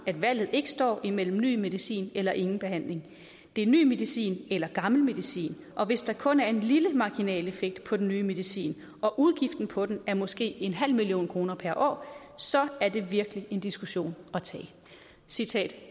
at valget ikke står imellem ny medicin eller ingen behandling det er ny medicin eller gammel medicin og hvis der kun er en lille marginal effekt på den nye medicin og udgiften på den måske er en halv million kroner per år så er det virkelig en diskussion at tage citat